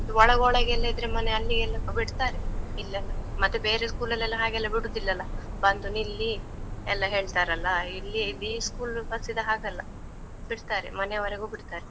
ಇದು ಒಳಗೊಳಗೆ ಎಲ್ಲ ಇದ್ರೆ ಮನೆ ಅಲ್ಲಿಗೆಲ್ಲ ಎಲ್ಲ ಬಿಡ್ತರೆ, ಇಲ್ಲೆಲ್ಲ, ಮತ್ತೆ ಬೇರೆ school ಅಲ್ ಎಲ್ಲ ಹಾಗೆಲ್ಲ ಬಿಡೂದಿಲ್ಲಲ್ಲ, ಬಂದು ನಿಲ್ಲಿ, ಎಲ್ಲ ಹೇಳ್ತಾರಲ್ಲಾ, ಇಲ್ಲಿ ಈ school ಬಸ್ಸಿದ್ದು ಹಾಗಲ್ಲ, ಬಿಡ್ತಾರೆ ಮನೆವರ್ಗೂ ಬಿಡ್ತಾರೆ.